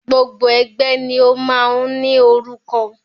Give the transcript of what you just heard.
Gbogbo ẹgbẹ́ ni o máa ń ní orúkọ.